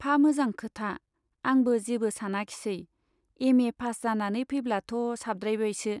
फा मोजां खोथा , आंबो जेबो सानाखिसै, एम ए पास जानानै फैब्लाथ' साबद्रायबायसो।